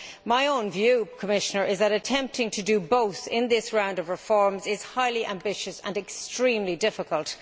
My own view, Commissoner, is that attempting to do both in this round of reforms is highly ambitious and extremely difficult.